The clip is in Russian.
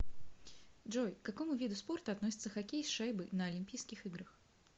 джой к какому виду спорта относится хоккей с шайбой на олимпийских играх